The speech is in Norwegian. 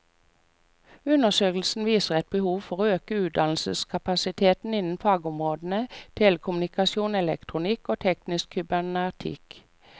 Undersøkelsen viser et behov for å øke utdanningskapasiteten innen fagområdene telekommunikasjon, elektronikk og teknisk kybernetikk.